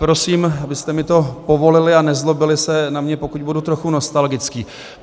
Prosím, abyste mi to povolili a nezlobili se na mě, pokud budu trochu nostalgický.